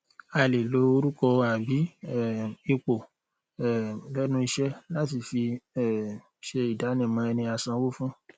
a lè lo orùkọ àbí um ipò um lẹnu iṣẹ láti fi um se ìdánimọ ẹni asanwó fún